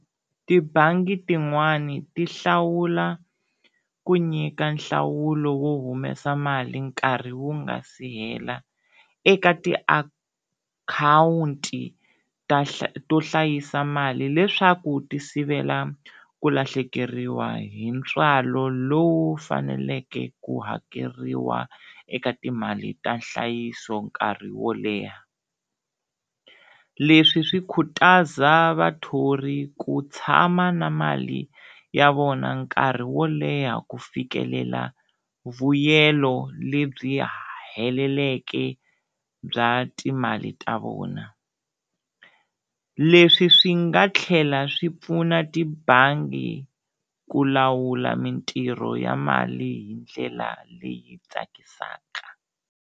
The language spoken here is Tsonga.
Tibangi tin'wana ti hlawula ku nyika nhlawulo wo humesa mali nkarhi wu nga si hela eka tiakhawunti ta to hlayisa mali leswaku ti sivela ku lahlekeriwa hi ntswalo lowu faneleke ku hakeriwa eka timali ta nhlayiso nkarhi wo leha, leswi swi khutaza vathori ku tshama na mali ya vona nkarhi wo leha ku fikelela vuyelo lebyi heleleke bya timali ta vona, leswi swi nga tlhela swi pfuna tibangi ku lawula mintirho ya mali hi ndlela leyi tsakisaka.